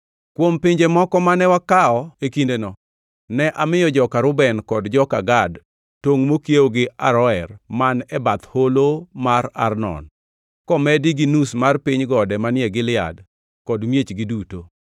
Kuom pinje moko mane wakawo e kindeno, ne amiyo joka Reuben kod joka Gad tongʼ mokiewo gi Aroer man e bath holo mar Arnon, komedi gi nus mar piny gode manie Gilead kod miechgi duto.